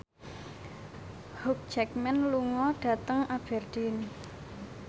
Hugh Jackman lunga dhateng Aberdeen